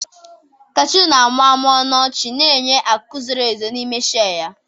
Kashuu na-amụmụ ọnụ ọchị, na-enye akụ zoro ezo n'ime shei ya.